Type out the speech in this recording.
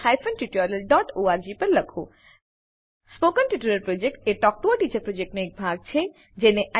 spoken tutorial project talk to a teacher પ્રોજેક્ટનો એક ભાગ છે